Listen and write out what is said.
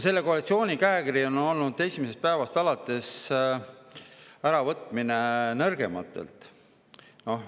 Selle koalitsiooni käekiri on esimesest päevast alates olnud äravõtmine nõrgematelt.